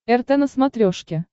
рт на смотрешке